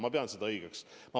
Ma pean seda õigeks.